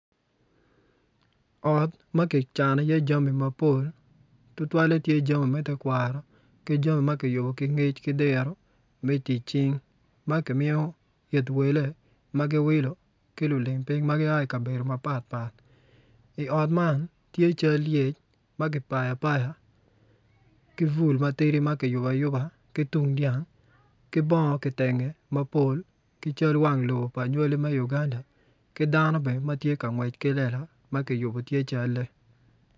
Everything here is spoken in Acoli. Ot ma kicano iye jami mapol tutwalle jami me tekwaro ki jami ma kiyubo ki ngec ki diro me tic cing ma kimiyo it wele ki lulim piny ma gia ki i kabedo mapatpat i ot man tye cal lyec ma kipayo apaya ki bul ma tidi ma i yubo ayuba ki tung dyang ki bongo kitenge mapol ki cal wang lobo pa nywali me uganda ki dano bene ma tye ka ngwec ki lela ma kiyubo tye calle.